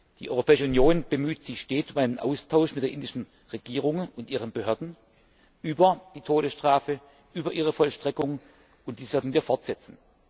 Die Europäische Union bemüht sich stets um einen Austausch mit der indischen Regierung und ihren Behörden über die Todesstrafe, über ihre Vollstreckung, und dies werden wir fortsetzen.